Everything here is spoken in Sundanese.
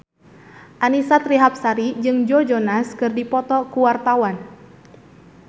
Annisa Trihapsari jeung Joe Jonas keur dipoto ku wartawan